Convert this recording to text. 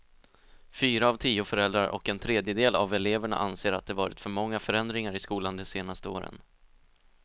Fyra av tio föräldrar och en tredjedel av eleverna anser att det varit för många förändringar i skolan de senaste åren.